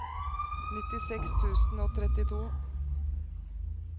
nittiseks tusen og trettito